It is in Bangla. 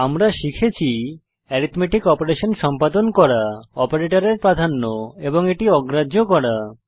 আমরা শিখেছি অ্যারিথমেটিক অপারেশন সম্পাদন করা অপারেটরের প্রাধান্য এবং এটি অগ্রাহ্য করা